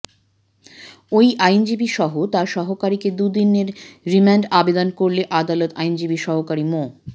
ওই আইনজীবীসহ তার সহকারীকে দুদিনের রিমান্ড আবেদন করলে আদালত আইনজীবীর সহকারী মো